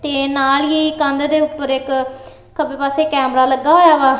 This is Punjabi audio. ਤੇ ਨਾਲ ਹੀ ਕੰਧ ਦੇ ਉੱਪਰ ਇੱਕ ਖੱਬੇ ਪਾਸੇ ਕੈਮਰਾ ਲੱਗਾ ਹੋਇਆ ਵਾ।